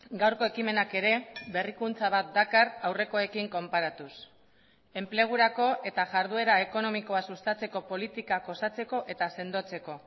gaurko ekimenak ere berrikuntza bat dakar aurrekoekin konparatuz enplegurako eta jarduera ekonomikoa sustatzeko politikak osatzeko eta sendotzeko